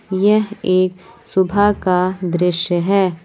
यह एक सुबह का दृश्य है।